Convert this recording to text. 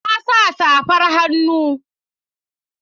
Na sa safar hannu.